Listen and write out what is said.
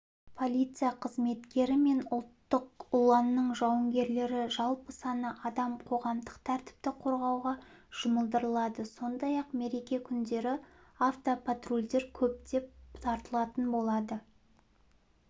полиция қызметкері мен ұлттық ұланның жауынгерлері жалпы саны адам қоғамдық тәртіпті қорғауға жұмылдырылады сондай-ақ мереке күндері автопатрульдер көптеп тартылатын болады